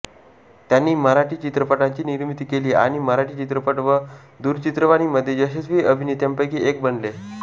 त्यांनी मराठी चित्रपटांची निर्मिती केली आणि मराठी चित्रपट व दूरचित्रवाणीमध्ये यशस्वी अभिनेत्यांपैकी एक बनले